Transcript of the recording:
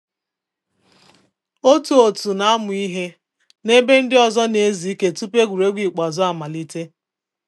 Otu òtù na amụ ihe na ebe ndị ọzọ na ezu ike tupu egwuregwu ikpeazụ amalite